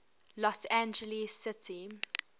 los angeles city